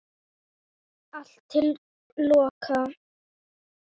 Allt til loka.